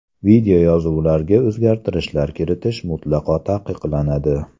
Videoyozuvlarga o‘zgartishlar kiritish mutlaqo taqiqlanadi.